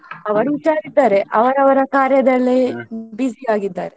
ಅವರು ಹುಷಾರಿದ್ದಾರೆ ಅವರವರ busy ಆಗಿದ್ದಾರೆ.